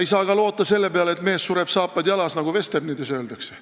Ei saa loota ka selle peale, et mees sureb, saapad jalas, nagu vesternides öeldakse.